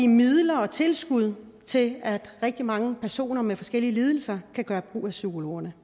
midler og tilskud til at rigtig mange personer med forskellige lidelser kan gøre brug af psykologerne